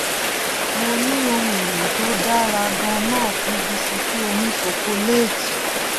mo ní ohun èlò tó dára ganan fún bisikì òní ṣokoléétì